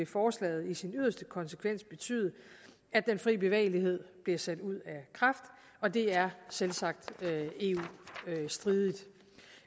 forslaget i sin yderste konsekvens vil betyde at den frie bevægelighed bliver sat ud af kraft og det er selvsagt eu stridigt